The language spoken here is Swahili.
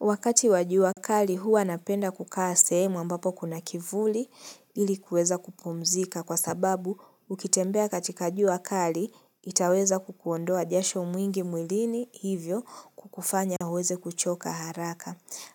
Wakati wajua kali hua napenda kukaa sehemu ambapo kuna kivuli ilikuweza kupumzika kwa sababu ukitembea katika juu wakali itaweza kukuondoa jasho mwingi mwilini hivyo kukufanya huweze kuchoka haraka.